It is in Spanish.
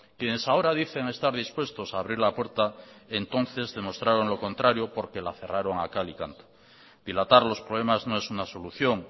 quienes ahora dicen estar dispuestos a abrir la puerta entonces demostraron lo contrario porque la cerraron a cal y canto dilatar los problemas no es una solución